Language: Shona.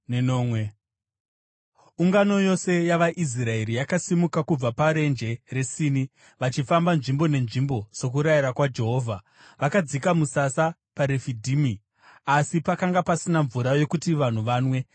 Ungano yose yavaIsraeri yakasimuka kubva paRenje reSini, vachifamba nzvimbo nenzvimbo sokurayira kwaJehovha. Vakadzika musasa paRefidhimu, asi pakanga pasina mvura yokuti vanhu vanwe.